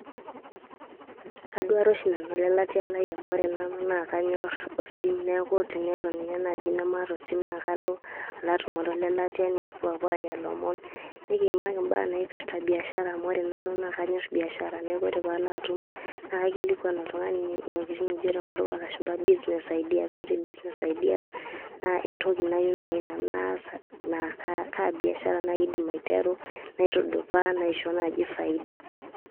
Kaduare oshi nanu olelatia lai amu ore nanu naa kanyorr osim. Niaku tenelo ninye naaji nemaata osim naa kalo alo atumore olelatia nikipuo aapuo aanya lomon. Nikiyimaki imbaa naipirta biashara amu ore nanu naa kanyorr biashara niaku ore pee alo atum naa kaikilikuan oltung`ani ntokitin nikijo te nkutuk oo lashumpa business ideas. Ore business ideas naa entoki nayieu naaji nanu naas. Naa kaa biashara naaji aidim aiteru naitudupaa naishoo naaji faida.